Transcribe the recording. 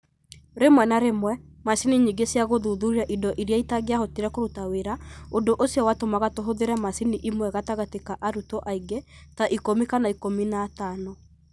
Rĩmwe na rĩmwe, macini nyingĩ cia gũthuthuria indo iria itingĩahotire kũruta wĩra, ũndũ ũcio watũmaga tũhũthĩre macini ĩmwe gatagatĩ ka arutwo aingĩ ta ikũmi kana ikũmi na atano.